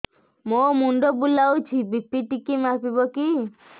ମୋ ମୁଣ୍ଡ ବୁଲାଉଛି ବି.ପି ଟିକିଏ ମାପିବ କି